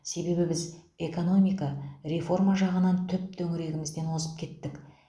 себебі біз экономика реформа жағынан түп төңірегімізден озып кеттік